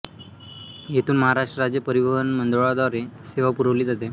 येथून महाराष्ट्र राज्य परिवहन मंडळाद्वारे सेवा पुरवली जाते